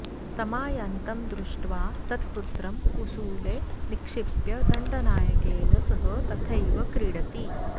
तमायान्तं दृष्ट्वा तत्पुत्रं कुसूले निक्षिप्य दण्डनायकेन सह तथैव क्रीडति